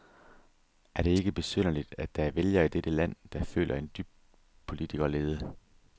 Er det ikke besynderligt, at der er vælgere i dette land, der føler en dyb politikerlede?